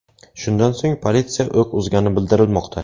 Shundan so‘ng politsiya o‘q uzgani bildirilmoqda.